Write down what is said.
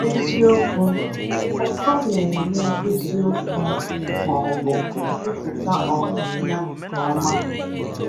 Eziokwu: Ọko na-enye eziokwu, ma ọbụ nkwupụta um ya nke ọma.